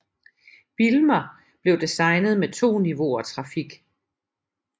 Bijlmer blev designet med 2 niveauer trafik